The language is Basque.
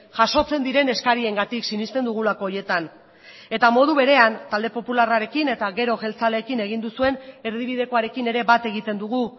jasotzen diren eskariengatik sinesten dugulako horietan eta modu berean talde popularrarekin eta gero jeltzaleekin egin duzuen erdibidekoarekin ere bat egiten dugu